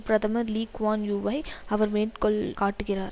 பிரதமர் Lee Kuan யூவை அவர் மேற்கொள் காட்டுகிறார்